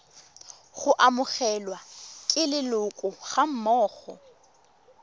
go amogelwa ke leloko gammogo